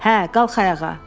Hə, qalx ayağa!